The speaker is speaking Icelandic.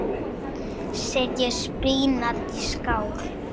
Setjið spínat í skál.